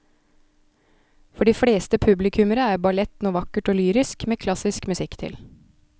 For de fleste publikummere er ballett noe vakkert og lyrisk med klassisk musikk til.